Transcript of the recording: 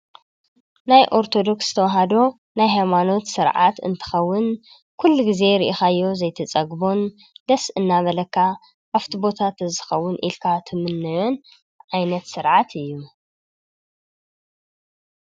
ናይ ኦርቶዶክስ ተዋህዶ ናይ ሃይማኖት ስርዓት እንትከውን ኩሉ ግዜ ሪኢካዮ ዘይትፀግቦን ደስ እናበለካ ኣብቲ ቦታ ተዝኮውን ኢልካ ትምነዮን ዓይነት ስርዓት እዩ::